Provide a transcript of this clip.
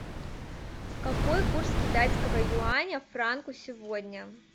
какой курс китайского юаня к франку сегодня